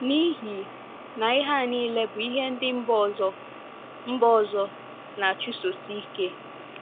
N’ihi na ihe a nile bụ ihe ndị mba ọzọ mba ọzọ na - achụsosi ike.